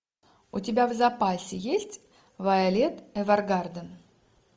у тебя в запасе есть вайолет эвергарден